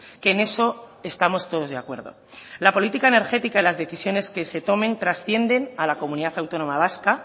que en eso estamos todos de acuerdo la política energética y las decisiones que se tomen trascienden a la comunidad autónoma vasca